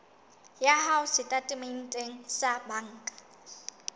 ya hao setatementeng sa banka